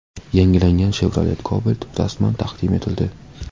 Yangilangan Chevrolet Cobalt rasman taqdim etildi .